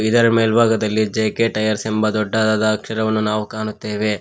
ಇದರ ಮೇಲ್ಭಾಗದಲ್ಲಿ J K tyres ಎಂಬ ದೊಡ್ಡ ಅಕ್ಷರವನ್ನು ನಾವು ಕಾಣುತ್ತೇವೆ.